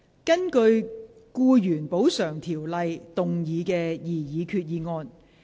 根據《僱員補償條例》動議的擬議決議案。